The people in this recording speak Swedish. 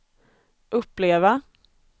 uppleva